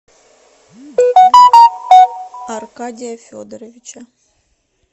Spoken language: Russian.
аркадия федоровича